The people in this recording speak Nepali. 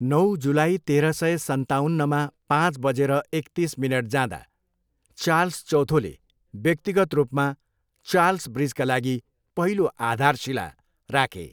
नौ जुलाई, तेह्र सय सन्ताउन्नमा पाँच बजेर एकतिस मिनट जाँदा चार्ल्स चौथोले व्यक्तिगत रूपमा चार्ल्स ब्रिजका लागि पहिलो आधारशिला राखे।